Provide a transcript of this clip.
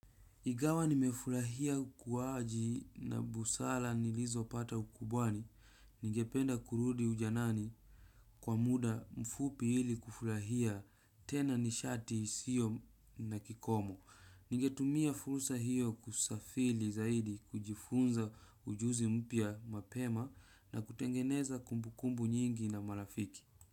Igawa nimefurahia kuwaji na busala nilizo pata ukubwani. Ningependa kurudi ujanani kwa muda mfupi ili kufurahia tena nishati siyo na kikomo. Ningetumia furusa hiyo kusafili zaidi kujifunza ujuzi mpya mapema na kutengeneza kumbukumbu nyingi na marafiki.